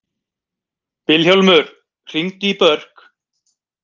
Vilhjálmur, hringdu í Börk.